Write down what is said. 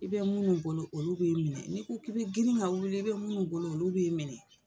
I bɛ minnu bolo olu b'i minɛ n'i ko k'i bɛ girin ka wili i bɛ minnu bolo olu b'i minɛ.